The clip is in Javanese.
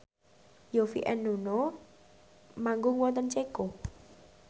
Yovie and Nuno manggung wonten Ceko